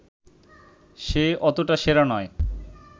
সে অতটা সেরা নয়